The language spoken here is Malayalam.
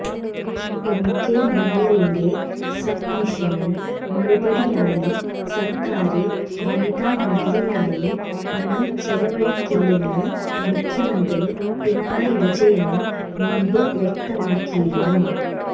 എംകെ മുനീറിന്റെ സബ്മിഷന് മറുപടിയായി സര്ക്കാര് വനിതാ മതിലിനായി പണം ചെലവഴിക്കില്ലെന്ന് മുഖ്യമന്ത്രി പിണറായി വിജയന് മുമ്പ് വ്യക്തമാക്കിയിരുന്നു